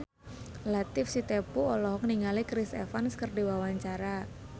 Latief Sitepu olohok ningali Chris Evans keur diwawancara